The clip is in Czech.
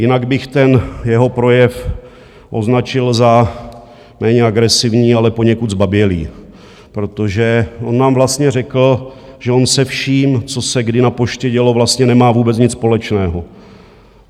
Jinak bych ten jeho projev označil za méně agresivní, ale poněkud zbabělý, protože on nám vlastně řekl, že on se vším, co se kdy na Poště dělo, vlastně nemá vůbec nic společného.